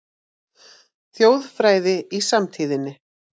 Þjóðfræði í samtíðinni